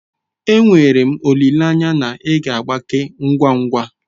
Enwere m olileanya na ị ga-agbake ngwa ngwa.